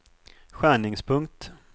skärningspunkt